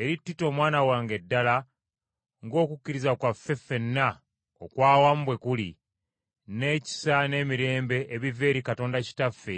eri Tito omwana wange ddala ng’okukkiriza kwaffe ffenna okwa awamu bwe kuli, n’ekisa n’emirembe ebiva eri Katonda Kitaffe